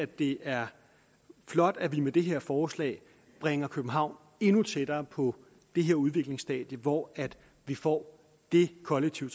det er flot at vi med det her forslag bringer københavn endnu tættere på det her udviklingsstadie hvor vi får det kollektive